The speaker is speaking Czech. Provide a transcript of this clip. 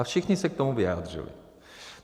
A všichni se k tomu vyjádřili.